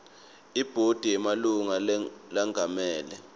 ibhodi yemalunga lengamele